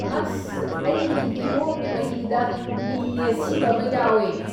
ꯑꯁ! ꯑꯩꯒꯤ ꯀꯤꯍꯣꯝꯒꯤ ꯃꯍꯤꯗ ꯃꯤ ꯑꯁꯤꯕ ꯑꯃ ꯌꯥꯎꯋꯦ꯫